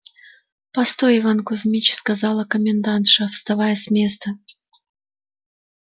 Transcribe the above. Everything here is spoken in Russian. постой иван кузьмич сказала комендантша вставая с места